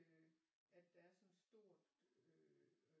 At der er sådan et stort øh